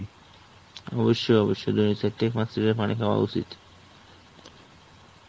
অবশ্যই অবশ্যই পানি খাওয়া উচিত.